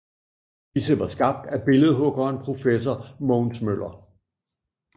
Disse var skabt af billedhuggeren professor Mogens Møller